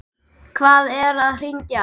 Hvað er að hrynja?